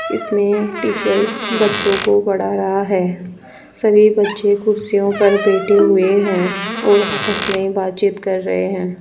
इसमें टीचर्स बच्चों को पढ़ा रहा है सभी बच्चे कुर्सियों पर बैठे हुए हैं और आपस में बातचीत कर रहे हैं।